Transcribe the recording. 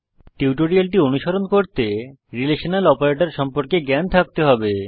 টিউটোরিয়ালটি অনুসরণ করতে জাভাতে রিলেশনাল অপারেটর সম্পর্কে জ্ঞান থাকতে হবে